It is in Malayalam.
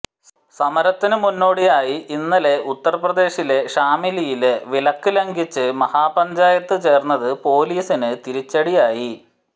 സമരത്തിന് മുന്നോടിയായി ഇന്നലെ ഉത്തര് പ്രദേശിലെ ഷാമിലിയില് വിലക്ക് ലംഘിച്ച് മഹാപഞ്ചായത്ത് ചേര്ന്നത് പോലിസിന് തിരിച്ചടിയായി